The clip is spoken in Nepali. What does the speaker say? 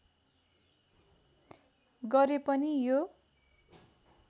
गरे पनि यो